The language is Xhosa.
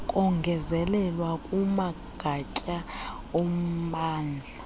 kongezelelwa kumagatya ommandla